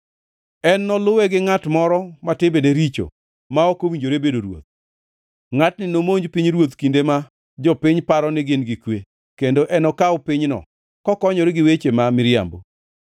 “En noluwe gi ngʼat moro ma timbene richo ma ok owinjore bedo ruoth. Ngʼatni nomonj pinyruoth kinde ma jopiny paro ni gin gi kwe kendo enokaw pinyno kokonyore gi weche ma miriambo.